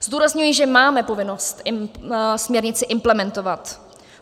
Zdůrazňuji, že máme povinnost směrnici implementovat.